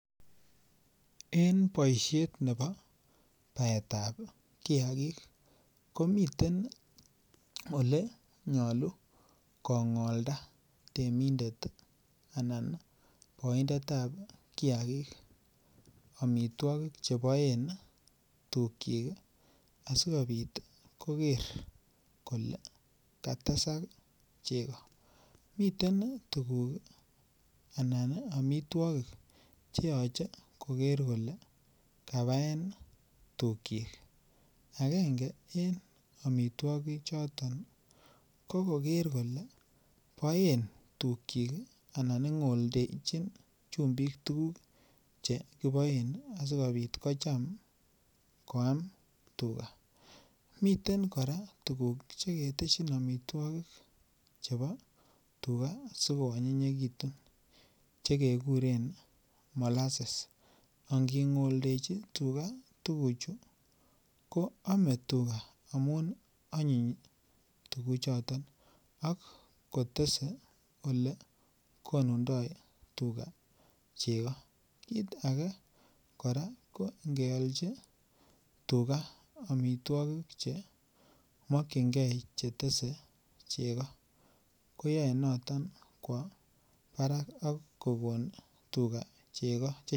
Emeetab Kenya akotindoi taonisiek chechang kot missing chekitesen tai boisionik cheterchin. En emeet nebo Kenya komiten taonisiek cheechen ak komiten taonisiek chemengechen. Agenge en taonisiek cheechen chenaaitin ak kikikochi kekuren city ih ko cheuu chebo Nairobi ih, asikobit korub Mombasa, miten taonit nebo Kisumu, miten nebo Eldoret ak taonisiek alak cheuu Nakuru, choton ko taonisiek cheechen, miten taonisiek alak chemengech cheuu ih taonisiek chebo kitale, miten chebo Kisi, miten taonit nebo kericho , miten taonit nebo bomet Al neuu nebo bomet miten taonit cheuu nebo nyeri ih, embu ih, kirinyaga ih.